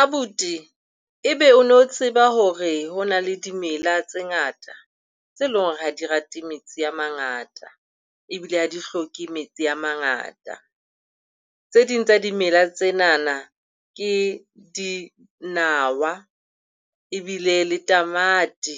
Abuti, e be o no tseba hore ho na le dimela tse ngata, tse leng hore ha di rate metsi a mangata ebile ha di hloke metsi a mangata. Tse ding tsa dimela tsenana ke dinawa ebile le tamati.